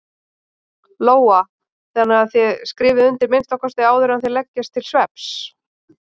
Lóa: Þannig að þið skrifið undir að minnsta kosti áður en þið leggist til svefns?